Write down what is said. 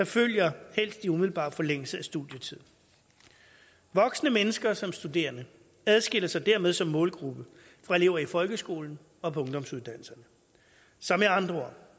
følge i umiddelbar forlængelse af studietiden voksne mennesker som studerende adskiller sig dermed som målgruppe fra elever i folkeskolen og på ungdomsuddannelserne så med andre